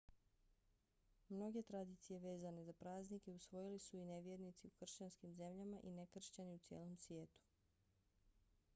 mnoge tradicije vezane za praznike usvojili su i nevjernici u kršćanskim zemljama i nekršćani u cijelom svijetu